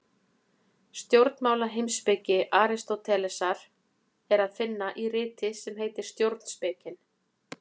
Stjórnmálaheimspeki Aristótelesar er að finna í riti sem heitir Stjórnspekin.